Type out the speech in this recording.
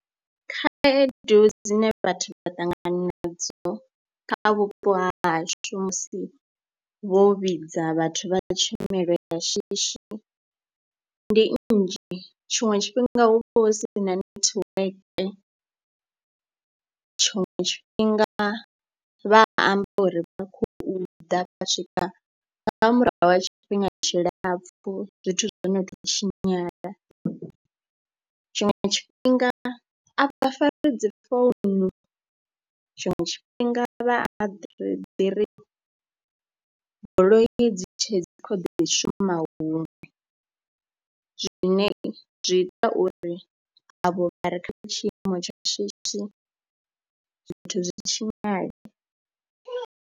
Khaedu dzine vhathu dza ṱangana nadzo kha vhupo hashu musi vho vhidza vhathu vha tshumelo ya shishi ndi nnzhi, tshiṅwe tshifhinga hu vha hu si na netiweke, tshiṅwe tshifhinga vha amba uri vha khou ḓa fha swika nga murahu ha tshifhinga tshilapfhu zwithu zwo no tou tshinyala. Tshiṅwe tshifhinga a vha fari dzi founu, tshiṅwe tshifhinga vha ri ri goloi dzi tshe dzi kha ḓi shuma huṅwe zwine zwi ita uri avho vha re kha tshiimo tsha shishi zwithu zwi tshinyale.